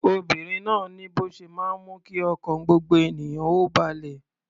Obìnrin náà ni bó ṣe máa ń mú kí ọkàn gbogbo ènìyàn ó balẹ̀.